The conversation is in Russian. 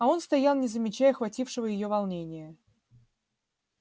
а он стоял не замечая охватившего её волнения